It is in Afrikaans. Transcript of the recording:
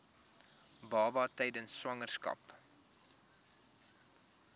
baba tydens swangerskap